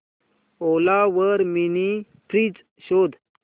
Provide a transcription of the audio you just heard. ओला वर mini fridge शोध